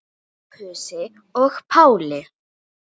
Sophusi og Páli.